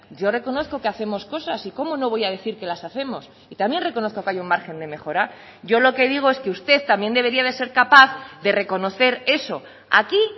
yo reconozco que hacemos cosas y cómo no voy a decir que las hacemos y también reconozco que hay un margen de mejora yo lo que digo es que usted también debería de ser capaz de reconocer eso aquí